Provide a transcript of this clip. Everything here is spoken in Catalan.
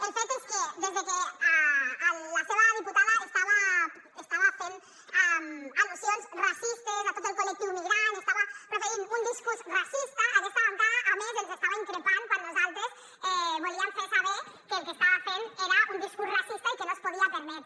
el fet és que des de que la seva diputada estava fent al·lusions racistes a tot el col·lectiu migrant estava proferint un discurs racista a aquesta bancada a més ens estava increpant quan nosaltres volíem fer saber que el que estava fent era un discurs racista i que no es podia permetre